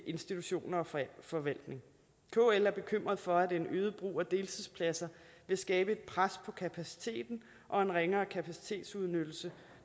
institutioner og forvaltning kl er bekymret for at en øget brug af deltidspladser vil skabe et pres på kapaciteten og en ringere kapacitetsudnyttelse